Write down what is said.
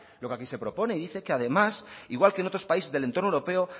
lo que aquí se propone y dice que además igual que en otros países del entorno europeo